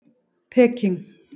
Peking